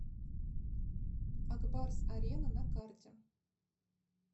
ак барс арена на карте